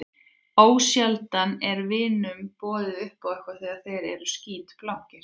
Ósjaldan er vinunum boðið upp á eitthvað þegar þeir eru skítblankir.